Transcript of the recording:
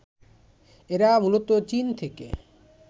এরা মূলত চীন থেকে